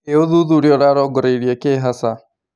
Ĩ ũthuthuria ũrarongoreria kĩ hasa?